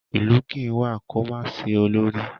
Ìlú kì í wà kó má sí olórí.